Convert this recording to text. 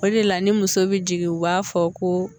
O de la ni muso bɛ jigin u b'a fɔ ko